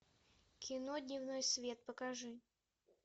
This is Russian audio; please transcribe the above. кино дневной свет покажи